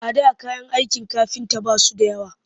A da kayan aikin kafinta ba su da yawa